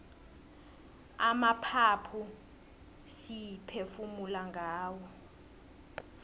amaphaphu siphefumula ngawo